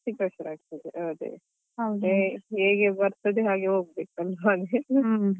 ಅದು ಸ್ವಲ್ಪ ಜಾಸ್ತಿ ಕಷ್ಟ ಆಗ್ತದೆ ಅದೇ ಹೇಗೆ ಬರ್ತದೆ ಹಾಗೆ ಹೋಗ್ಬೇಕು.